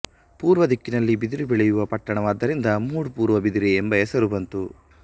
ಪೂರ್ವದಿಕ್ಕಿನಲ್ಲಿ ಬಿದಿರು ಬೆಳೆಯುವ ಪಟ್ಟಣವಾದ್ದರಿಂದ ಮೂಡು ಪೂರ್ವ ಬಿದಿರೆ ಎಂಬ ಹೆಸರು ಬಂತು